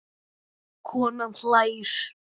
Konan hlær.